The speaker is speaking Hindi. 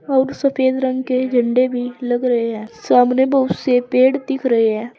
और सफेद रंग के झंडे भी लग रहे है सामने बहुत से पेड़ दिख रहे है।